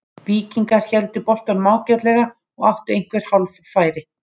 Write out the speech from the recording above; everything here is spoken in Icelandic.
Víkingar héldu boltanum ágætlega og áttu einhver hálffæri.